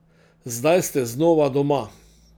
Zdaj ste znova doma.